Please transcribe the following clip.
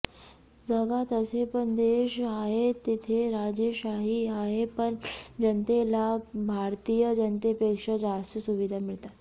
जगात असे पण देश आहेत तिथे राजेशाही आहे पण जनतेला भारतीय जनतेपेक्षा जास्त सुविधा मिळतात